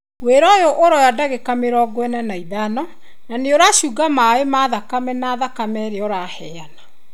Wĩra ũyũ ũroya ndagĩka mĩrongo ĩna na ithano na nĩũracunga maĩ ma thakame na thakame rĩrĩa ũraheana.